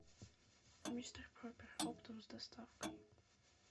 мистер пропер оптом с доставкой